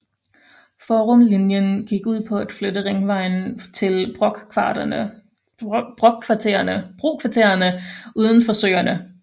Forumlinjen gik ud på at flytte ringvejen til brokvartererne uden for Søerne